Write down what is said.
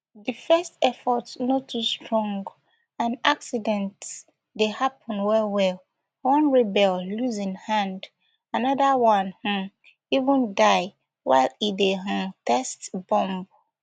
di first efforts no too strong and accidents dey happun wellwell one rebel lose im hand anoda one um even die while e dey um test bomb